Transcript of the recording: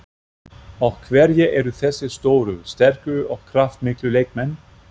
Og hverjir eru þessir stóru, sterku og kraftmiklu leikmenn?